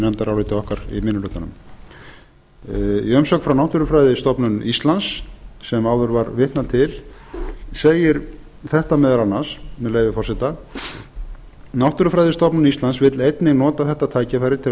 í minni hlutanum í umsögn frá náttúrufræðistofnun íslands sem áður var vitnað til segir þetta meðal annars með leyfi forseta náttúrufræðistofnun íslands vill einnig nota þetta tækifæri til að